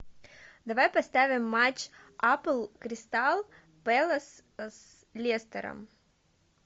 давай поставим матч апл кристал пэлас с лестер